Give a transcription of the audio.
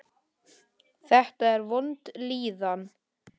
Þetta var vond líðan.